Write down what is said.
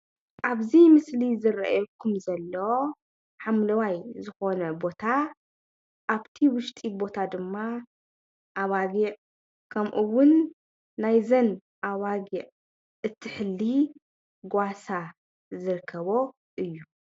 ኣብዚ ምስሊ ዝረአየኩም ዘሎ ሓምለዋይ ዝኮነ ቦታ ኣብቲ ውሽጢ ቦታ ድማ ኣባጊዕ ከምኡ እውን ናይዘን ኣባጊዕ እትሕሊ ጓሳ ዝርከበኦ እዩ፡፡